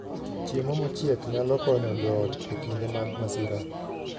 Chiemo mochiek nyalo konyo joot e kinde mag masira